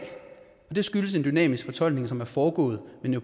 det skyldes en dynamisk fortolkning som er foregået